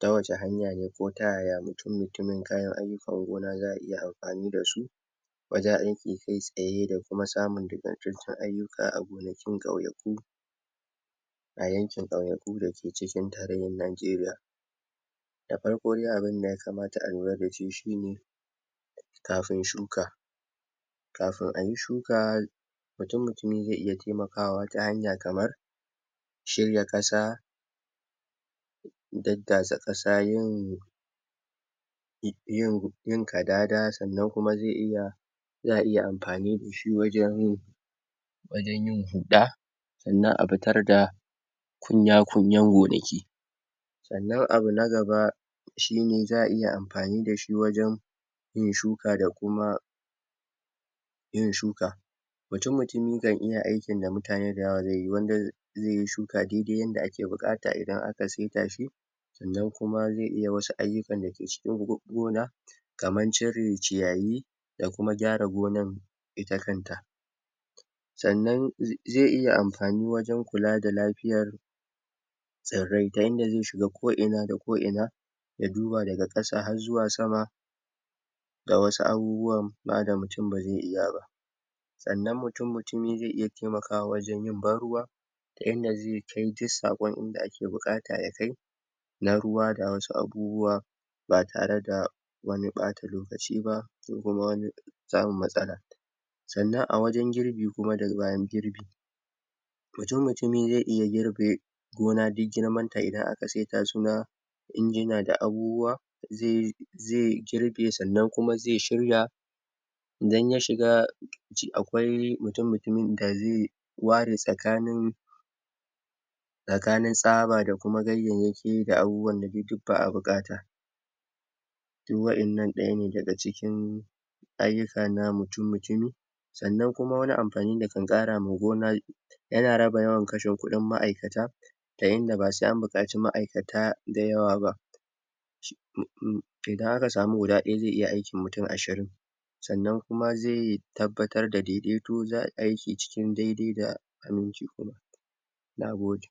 ta wace hanya ne ko ta yaya mutum, kayan ayukan gona za'a iya amfani da su kai tsaya da kuma samun ayuka a gonakin kauyaku a yanken kauyaku da ke cikin tarehen Najeriya da farko de abun da ya kamata a lura da shi shi ne kafin shuka kafin a yi shuka mtumi ze iya taimaka a wata hanya kamar shirya kasa dadasa kasa, yin yin kadada sannan kuma ze iya za iya amfani da shi wajen wajen yin huda sannan a fitar da kunya kunyan gonaki tsannan abu na gab shi ne za iya amfani da shi wajen yin shuka da kuma yin shuka kan iya aikin da mutane da yawa dai yi wanda ze yi shuka daidai yanda ake bukata indan aka sinta shi tsannan kuma ze iya masa ayukan da ke cikin gona kaman ciren ciyaye da kuma gyara gonan ita kanta tsanan ze iya amfani wajen kula da lafiyar tsirrai ta inda ze shiga ko ina da ko ina ya duba daga kasa har zuwa sama ga wasu abubuwa ba da mutum ba ze iya ba tsanan mutum ze iya taimaka wajen yi barruwa da inda ze tance sakon inda ake bukata ya kai na ruwa da wasu abubuwa ba tare da wane bata lokaci ba da wani samun matsala tsanan a wajen girbi kuma da bayan girbi mutumi ze iya girbe gona de duk girman ta idan aka injina da abubuwa ze ze girbe kuma sannan ze shirya idan ya shiga shi akwai mutu mutumin da ze ware tsakanin tsakanen tsaba da kuma gayayaki da abubuwa bukata duk wadanna daya ne daga cikin [inaudible segment] wannan kuma wane amfani ne da kan kara ma gona yana raba yawan rashen kudin ma'aikata ta yanda ba se an bukaci ma'aikata da yawa ba idan aka samu guda daya ze iya aikin mutum ashirin tsannan kuma ze tabbatar da daidai to za yi aiki a cikin daidai da